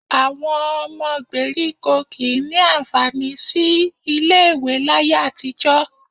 Àwọn ọmọ gbèríkò kì í ní àǹfààní sí ilé-ìwé láyé àtijọ́